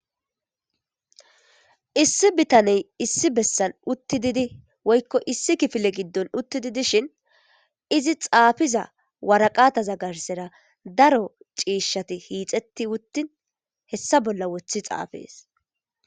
issi bitaney issi bessan utti didi woykko issi kifile giddon utti didishin izi xaafiza waraqata zagarsera daro ciishshati hiixetti wuttin hessa bolla woththi xaafees